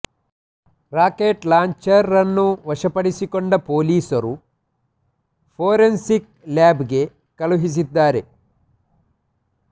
rocket launcher ರನ್ನು ವಶಪಡಿಸಿಕೊಂಡ ಪೊಲೀಸರು ಫೊರೆನ್ಸಿಕ್ಸ್ ಲ್ಯಾಬ್ ಗೆ ಕಳುಹಿಸಿದ್ದಾರೆ